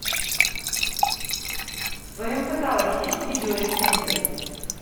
в твоем каталоге есть видеорецензия